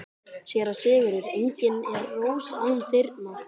SÉRA SIGURÐUR: Engin er rós án þyrna.